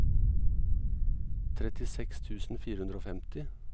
trettiseks tusen fire hundre og femti